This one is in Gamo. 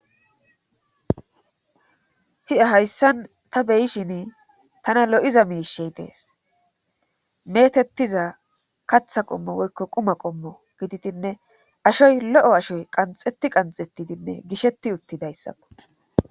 Ha'i hayssan ta beyishin tana lo7iza miishey dees metettiza katha qommo woykko quma qommo gididinne ashoy lo7o ashoy qanxetti qanxettidinne gisheti uttidayssakko